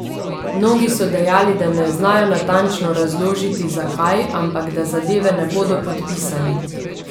Mnogi so dejali, da ne znajo natančno razložiti, zakaj, ampak da zadeve ne bodo podpisali.